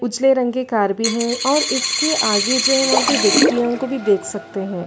उछले रंग के कार भी है और इसके आगे जो है वहाँ पे व्यक्तियों को भी देख सकते हैं ।